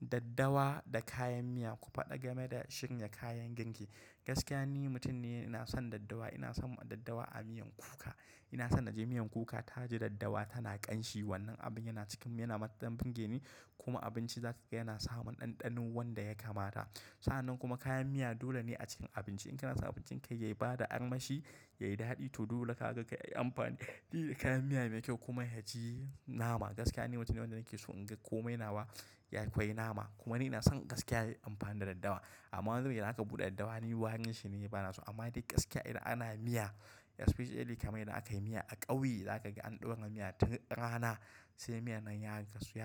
Daddawa da kayan miya ku faɗa game da shirya kayan girki. Gaskiya ni mutum ne ina son daddawa, ina son daddawa a miyan kuka. Ina son na je miyan kuka taji daddawa tana ƙanshi wannan abin yana cikin yana matukan burge ni kuma abinci za ka ga yana samun ɗanɗanon wanda ya kamata. Sa'annan kuma kayan miya dole ne a cikin abinci. In kana son abincin kai yai bada armashi, yayi daɗi to dole kaga kai yi amfani da kayan miya mai kyau kuma ya ji nama. Gaskiya ni mutum ne wanda nake so in ga komai nawa ya kwai nama kuma ni ina son gaskiya yayi amfani da daddawa. Amman wani zubin idan aka buɗe daddawa ni warin shi ne bana so amma dai gaskiya idan ana miya especially kamar idan aka yi miya a ƙauye zaka ga an ɗaura miya tun rana sai miyan nan ya